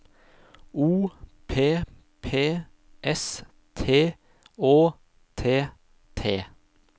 O P P S T Å T T